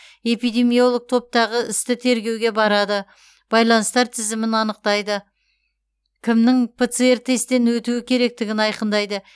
эпидемиолог топтағы істі тергеуге барады байланыстар тізімін анықтайды кімнің пцр тесттен өтуі керектігін айқындайды